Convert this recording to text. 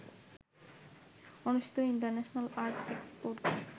অনুষ্ঠিত international art এক্সপোতে